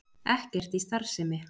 Ekkert í starfsemi